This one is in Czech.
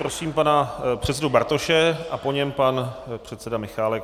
Prosím pana předsedu Bartoše a po něm pan předseda Michálek.